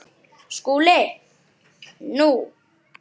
SKÚLI: Nú?